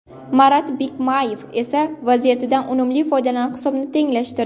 Marat Bikmayev esa vaziyatdan unumli foydalanib hisobni tenglashtirdi.